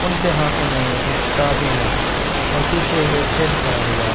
उनके हाथों में एक किताबे है और पीछे एक हेड खड़ा हुआ --